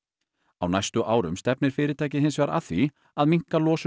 á næstu árum stefnir fyrirtækið hins vegar að því að minnka losun